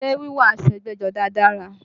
Ṣé wíwọ̀ aṣọ ẹgbẹ́jọdá dára?